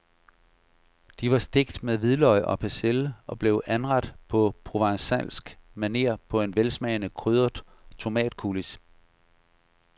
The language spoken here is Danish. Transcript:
De var stegt med hvidløg og persille og blev anrettet på provencalsk maner på en velsmagende krydret tomatcoulis.